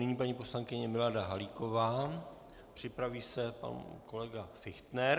Nyní paní poslankyně Milada Halíková, připraví se pan kolega Fichtner.